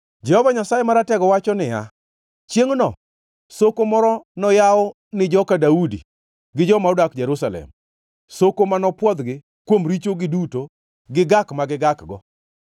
Jehova Nyasaye Maratego wacho niya, “Chiengʼno soko moro noyaw ni joka Daudi gi joma odak Jerusalem, soko ma nopwodhgi kuom richogi duto gi gak ma gigakgo.”